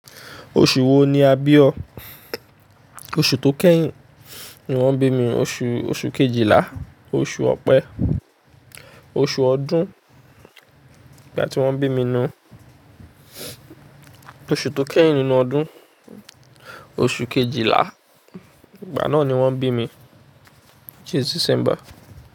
Oṣù wo ni a bí ọ? Oṣù tó kẹ́yìn ni wọ́n bí mi, oṣù, oṣù Kejìlá. Oṣù Ọ̀pẹ. Oṣù ọdún, ìgbà tí wọ́n bí mi nù. Oṣù tó kẹ́yìn nínú ọdún. Oṣù Kejìlá, ìgbà náà ni wọ́n bí mi, which is Sẹsẹmbà.